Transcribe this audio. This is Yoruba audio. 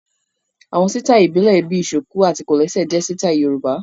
Àwọn sítáì ìbílẹ̀ bíi ṣùkù àti kòlẹ́sẹ̀ jẹ sítáì Yorùbá